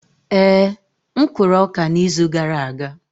Ee, m kụrụ ọka n'izu gara aga.